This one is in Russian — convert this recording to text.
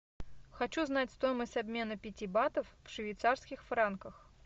хочу знать стоимость обмена пяти батов в швейцарских франках